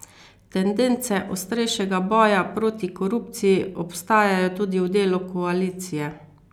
Tendence ostrejšega boja proti korupciji obstajajo tudi v delu koalicije.